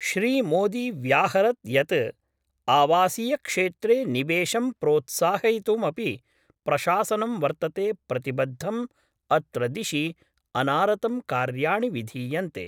श्री मोदी व्याहरत् यत् आवासीयक्षेत्रे निवेशं प्रोत्साहयितुमपि प्रशासनं वर्तते प्रतिबद्धम् अत्र दिशि अनारतं कार्याणि विधीयन्ते।